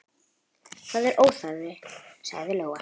Það er óþarfi, sagði Lóa.